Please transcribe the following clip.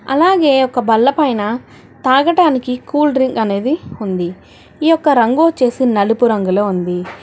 అలాగే ఒక బల్ల పైన తాగటానికి కూల్ డ్రింక్ అనేది ఉంది ఈ యొక్క రంగు వొచ్చేసి నలుపు రంగులో ఉంది.